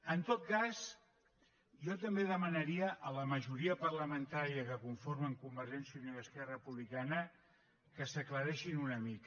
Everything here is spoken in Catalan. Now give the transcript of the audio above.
en tot cas jo també demanaria a la majoria parlamentària que conformen convergència i unió i esquerra republicana que s’aclareixin una mica